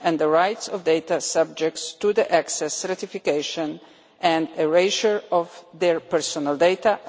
and the rights of data subjects to access certification and erasure of their personal data